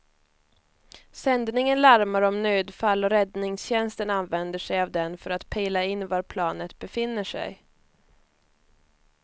Sändningen larmar om nödfall och räddningstjänsten använder sig av den för att pejla in var planet befinner sig.